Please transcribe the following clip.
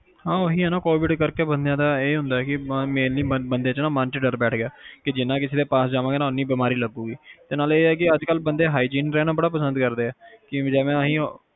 Covid ਕਰਕੇ ਇਹੀ ਆ ਬੰਦਿਆ ਦੇ ਮਨ ਚ ਡਰ ਬੈਠ ਗਿਆ ਕਿ ਜਿੰਨਾ ਕਿਸੇ ਦੇ ਪਾਸ ਜਾਵਾਗੇ ਉਹਨੀ ਬਿਮਾਰੀ ਲੱਗੂ ਕਿ ਅੱਜ ਕੱਲ ਬੰਦੇ hygen ਰਹਿਣਾ ਬੜਾ ਪਸੰਦ ਕਰਦੇ ਹੈਗੇ ਕਿ ਜਿਵੇ ਅਸੀਂ ਹੁਣ